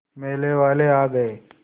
मेले वाले आ गए